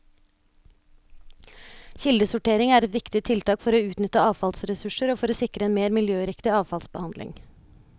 Kildesortering er et viktig tiltak for å utnytte avfallsressurser og for å sikre en mer miljøriktig avfallsbehandling.